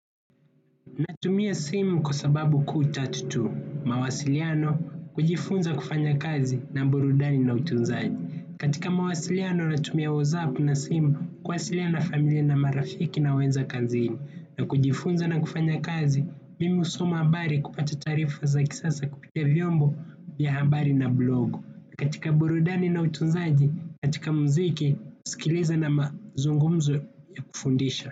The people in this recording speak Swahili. Natumia simu kwa sababu kuu tatu tu. Mawasiliano kujifunza kufanya kazi na burudani na utunzaji. Katika mawasiliano natumia whatsapp na simu kuwasiliana na familia na marafiki na wenza kazini. Na kujifunza na kufanya kazi, mimi husoma habari kupata taarifa za kisasa kupitia vyombo ya habari na blog. Katika burudani na utunzaji, katika mziki, kusikiliza na mazungumzo ya kufundisha.